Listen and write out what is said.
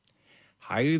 hægðir